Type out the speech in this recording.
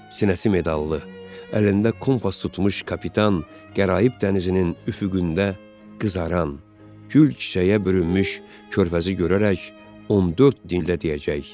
Sinəsi medallı, əlində kompas tutmuş kapitan qəraib dənizinin üfüqündə qızaran, gül çiçəyə bürünmüş körfəzi görərək 14 dildə deyəcək: